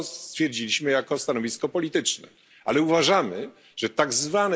To stwierdziliśmy jako stanowisko polityczne, ale uważamy, że tzw.